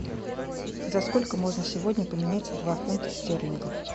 за сколько можно сегодня поменять два фунта стерлингов